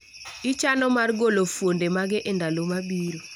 Ichano mar golo fuonde mage e ndalo mabiro